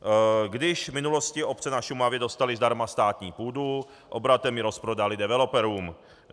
Když v minulosti obce na Šumavě dostaly zdarma státní půdu, obratem ji rozprodaly developerům.